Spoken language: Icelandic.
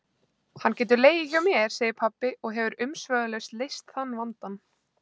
Hann getur legið hjá mér, segir pabbi og hefur umsvifalaust leyst þann vandann.